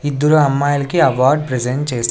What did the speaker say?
ఇద్దురు అమ్మాయిలకి award present చేస్--